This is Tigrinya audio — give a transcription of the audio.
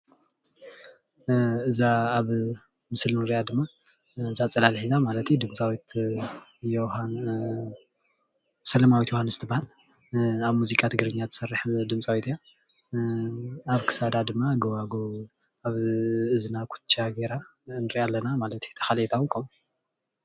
እዛ ኣብ ምስሊ ንሪኣ ድማ እዛ ፅላል ሒዛ ማለት እዩ፣ ድምፃዊት ሰለማዊት ዮውሃንስ ትበሃል። ኣብ ሙዚቃ ትግርኛ ትሰርሕ ድምፃዊት እያ፣ ኣብ ክሳዳ ድማ ጎባጉብ ኣብ እዝና ኩትቻ ጌራ ንሪኣ ኣለና ማለት እዩ፣ እታ ካልአይታ እዉን ከምኡ።